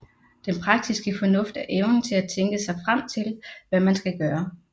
Den praktiske fornuft er evnen til at tænke sig frem til hvad man skal gøre